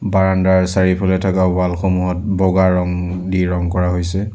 বাৰাণ্ডাৰ চাৰিওফালে থকা ৱাল সমূহত বগা ৰং দি ৰং কৰা হৈছে।